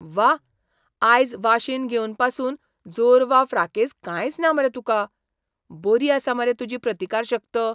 व्वा! आयज वाशीन घेवन पासून जोर वा फ्राकेझ कांयच ना मरे तुका. बरी आसा मरे तुजी प्रतिकारशक्त!